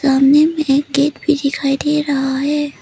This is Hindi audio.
सामने में एक गेट भी दिखाई दे रहा है।